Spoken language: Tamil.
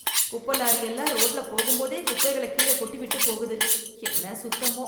குப்ப லாரி எல்லாம் ரோட்ல போகும்போதே குப்பைகளை கீழ கொட்டி விட்டுப் போகுது... என்ன சுத்தமோ